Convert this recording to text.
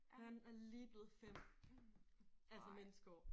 Han er lige blevet 5 altså menneskeår